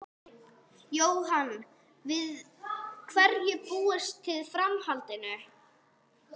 Jóhann: Við hverju búist þið í framhaldinu?